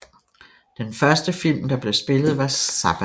Den første film der blev spillet var Zappa